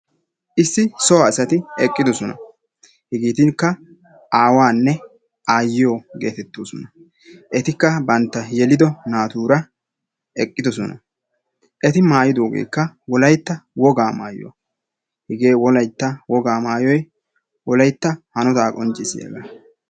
Issi so asati eqqidoosona. Hegetikka aawanne aayiyo getettoosona. Etikka bantta yelido naatura eqqidoosona. Eti maayidogeekka Wolayta Wogaa maayuwa. Hegee Wolaytta Woga maayoy Wolaytta hanota qonccissiyaaga